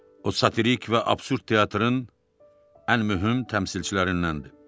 O satirik və absurd teatrın ən mühüm təmsilçilərindəndir.